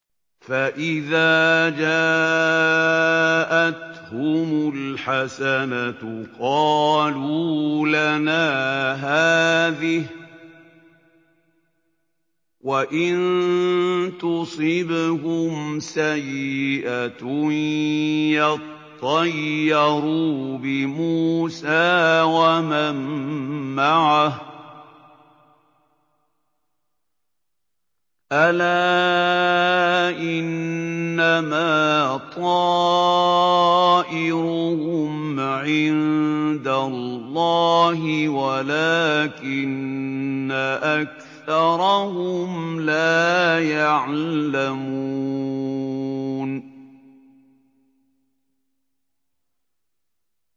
فَإِذَا جَاءَتْهُمُ الْحَسَنَةُ قَالُوا لَنَا هَٰذِهِ ۖ وَإِن تُصِبْهُمْ سَيِّئَةٌ يَطَّيَّرُوا بِمُوسَىٰ وَمَن مَّعَهُ ۗ أَلَا إِنَّمَا طَائِرُهُمْ عِندَ اللَّهِ وَلَٰكِنَّ أَكْثَرَهُمْ لَا يَعْلَمُونَ